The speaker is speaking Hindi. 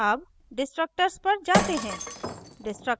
अब destructors पर जाते हैं